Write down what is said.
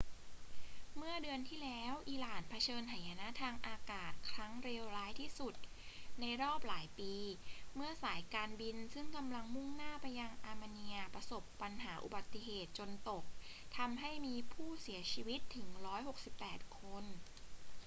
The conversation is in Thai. เมื่อเดือนที่แล้ว อิหร่านเผชิญหายนะทางอากาศครั้งเลวร้ายที่สุดในรอบหลายปีเมื่อสายการบินซึ่งกำลังมุ่งหน้าไปยังอาร์เมเนียประสบอุบัติเหตุจนตกทำให้มีผู้เสียชีวิตถึง 168 คน